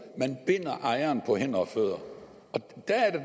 man binder ejeren på hænder og fødder